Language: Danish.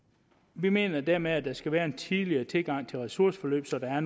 vi mener dermed at der skal være en tidligere tilgang til ressourceforløb så der er